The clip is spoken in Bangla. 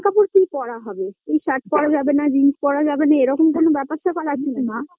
জামা কাপড় কি পরা হবে এই shirt পরা যাবেনা jeans পরা যাবেনা এরকম কোন ব্যাপার স্যাপার আছে নাকি না